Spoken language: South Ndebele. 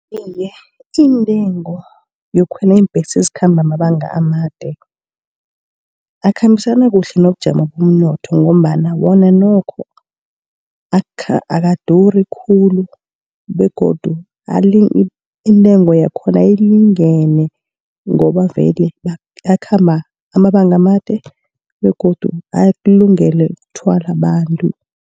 Iye iintengo yokukhwela iimbhesi ezikhamba amabanga amade, akhambisana kuhle nobujamo bomnotho, ngombana wona nokho akaduri khulu begodu intengo yakhona ilingene ngoba vele akhamba amabanga amade, begodu akulungele ukuthwala abantu.